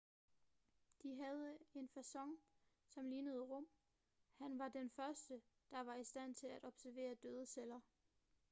de havde en facon som lignede rum han var den første der var i stand til at observere døde celler